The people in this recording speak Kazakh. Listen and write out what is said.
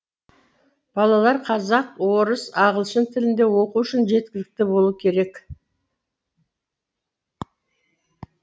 балалар қазақ орыс ағылшын тілінде оқу үшін жеткілікті болу керек